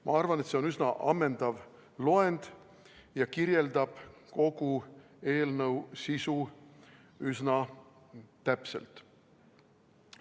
Ma arvan, et see on üsna ammendav loend ja kirjeldab kogu eelnõu sisu üsna täpselt.